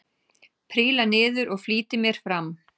Príla niður og flýti mér fram.